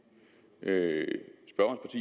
øget at